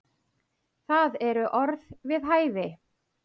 Það eru orð við hæfi.